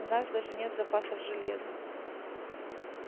у нас даже нет запасов железа